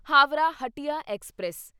Howrah Hatia express